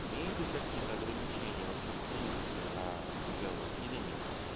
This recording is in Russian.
имеет ли какие-то ограничения вообще в принципе на разговор или нет